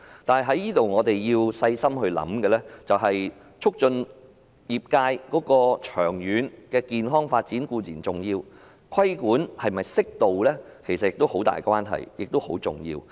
但是，我們要細心考慮的是，促進業界健康長遠發展固然重要，但規管是否適度也有很大關係，並且十分重要。